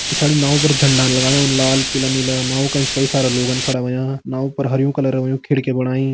पिछाड़ी नाव पर झंडान लगायुं लाल पीला नीला नाव का एंच कई सारा लोगन खड़ा होयां नाव पर हरयूं कलर होयुं खिड़की बणाई।